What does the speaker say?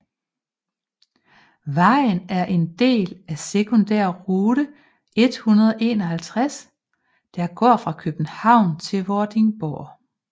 Vejen er en del af sekundærrute 151 der går fra København til Vordingborg